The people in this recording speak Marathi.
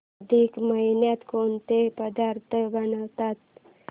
अधिक महिन्यात कोणते पदार्थ बनवतात